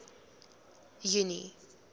junie